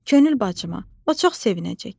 Könül bacıma, o çox sevinəcək."